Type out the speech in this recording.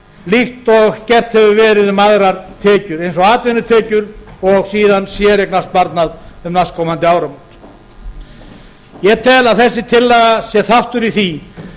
og gert hefur verið um aðrar tekjur eins og atvinnutekjur og síðan séreignasparnað um næstkomandi áramót ég tel að þessi tillaga sé þáttur í því